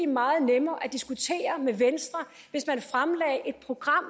meget nemmere at diskutere med venstre hvis man fremlagde et program